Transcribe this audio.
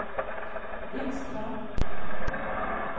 Vinstra